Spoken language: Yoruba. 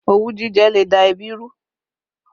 Òwú jíjẹ le da ẹbí rú